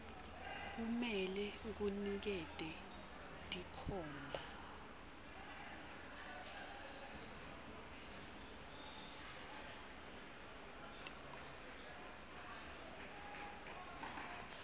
kumele kunikete tinkhomba